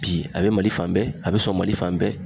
Bi a bɛ Mali fan bɛɛ a bɛ sɔn Mali fan bɛɛ